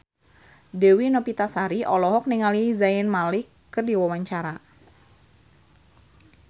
Dewi Novitasari olohok ningali Zayn Malik keur diwawancara